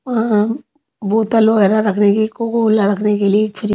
अ अ बोतल वगैरह रखने की कोको कोला रखने के लिए एक फ्रि--